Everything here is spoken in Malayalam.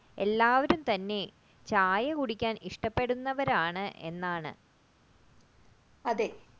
എല്ലാവരും തന്നെ ചായ കുടിക്കാൻ ഇഷ്ടപ്പെടുന്നവർ എന്നാണ്. അതെ